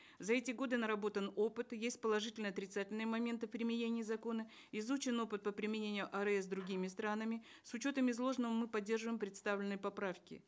за эти годы наработан опыт есть положительные и отрицательные моменты применения закона изучен опыт по применению арс другими странами с учетом изложенного мы поддерживаем представленные поправки